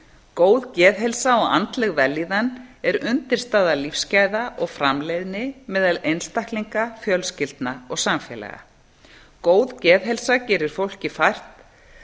góð geðheilsa og andleg vellíðan er undirstaða lífsgæða og framleiðni meðal einstaklinga fjölskyldna og samfélaga góð geðheilsa gerir fólki fært